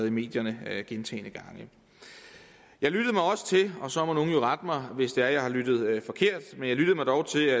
i medierne gentagne gange jeg lyttede mig også til og så må nogen jo rette mig hvis det er jeg har lyttet forkert men jeg lyttede mig dog til